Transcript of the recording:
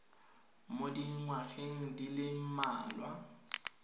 mo dingwageng di le mmalwa